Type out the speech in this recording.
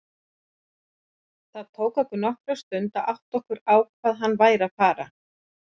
Það tók okkur nokkra stund að átta okkur á hvað hann væri að fara.